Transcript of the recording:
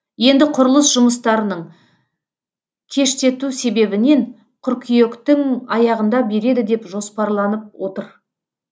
енді құрылыс жұмыстарының кештету себебінен қыркүйектің аяғында береді деп жоспарланып отыр